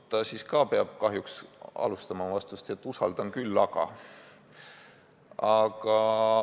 Ja siis peab ta kahjuks alustama oma vastust nii, et usaldan küll, aga.